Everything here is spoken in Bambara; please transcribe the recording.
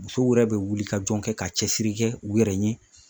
Musow yɛrɛ be wuli ka jɔn kɛ ka cɛsiri kɛ u yɛrɛ ye